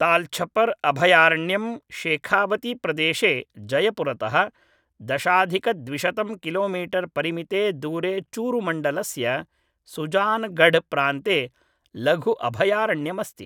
तालछपर् अभयारण्यं शेखावतीप्रदेशे जयपुरतः दशाधिकद्विशतं किलोमीटर् परिमिते दूरे चूरुमण्डलस्य सुजानगढ्प्रान्ते लघु अभयारण्यमस्ति